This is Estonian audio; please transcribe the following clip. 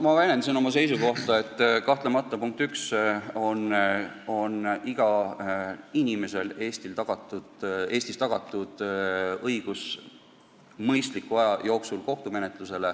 Ma väljendasin oma seisukohta, et igal inimesel on Eestis õigus kohtumenetlusele mõistliku aja jooksul.